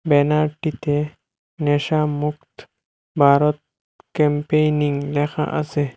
ব্যানারটিতে নেশা মুক্ত ভারত ক্যাম্পেইনিং লেখা আসে।